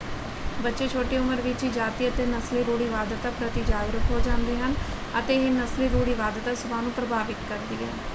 ਬੱਚੇ ਛੋਟੀ ਉਮਰ ਵਿੱਚ ਹੀ ਜਾਤੀ ਅਤੇ ਨਸਲੀ ਰੂੜੀਵਾਦਤਾ ਪ੍ਰਤੀ ਜਾਗਰੂਕ ਹੋ ਜਾਂਦੇ ਹਨ ਅਤੇ ਇਹ ਨਸਲੀ ਰੂੜੀਵਾਦਤਾ ਸੁਭਾਅ ਨੂੰ ਪ੍ਰਭਾਵਿਤ ਕਰਦੀ ਹੈ।